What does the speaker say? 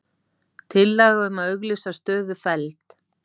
Tillaga um að auglýsa stöðu felld